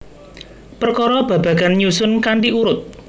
Perkara babagan nyusun kanthi urut